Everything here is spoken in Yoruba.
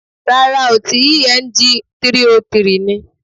Rárá ooo, ti Eng 303 ni